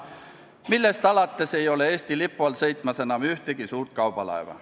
Sellest alates ei ole Eesti lipu all sõitmas enam ühtegi suurt kaubalaeva.